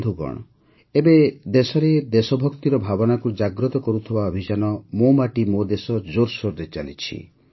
ବନ୍ଧୁଗଣ ଏବେ ଦେଶରେ ଦେଶଭକ୍ତିର ଭାବନାକୁ ଜାଗ୍ରତ କରୁଥିବା ଅଭିଯାନ ମୋ ମାଟି ମୋ ଦେଶ ଜୋର୍ସୋର୍ରେ ଚାଲିଛି